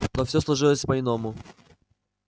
но всё сложилось по иному